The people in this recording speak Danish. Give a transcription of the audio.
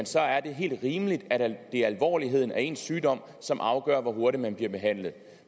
så er er helt rimeligt at det er alvorligheden af ens sygdom som afgør hvor hurtigt man bliver behandlet